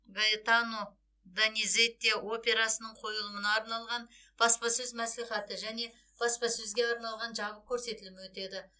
гаэтано дониззети операсының қойылымына арналған баспасөз мәслихаты және баспасөзге арналған жабық көрсетілімі өтеді